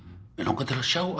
mig langar til að sjá